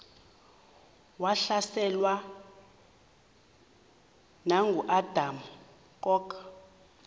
wahlaselwa nanguadam kok